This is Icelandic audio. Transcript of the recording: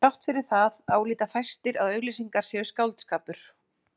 Þrátt fyrir það álíta fæstir að auglýsingar séu skáldskapur.